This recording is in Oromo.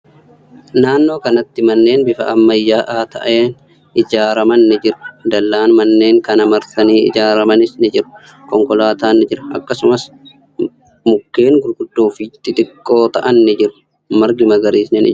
Naannoo kanatti manneen bifa ammayyaa'aa ta'een ijaaraman ni jiru. Dallaan manneen kana marsanii ijaaramanis ni jiru. Konkolaatan ni jira. Akkasumas, mukkeen gurguddoo fi xixiqqoo ta'an ni jiru. Margi magariisni ni jira.